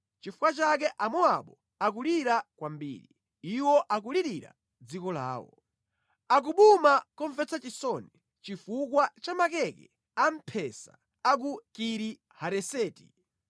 Nʼchifukwa chake Amowabu akulira kwambiri; iwo akulirira dziko lawo. Akubuma momvetsa chisoni chifukwa cha makeke a mphesa a ku Kiri Hareseti.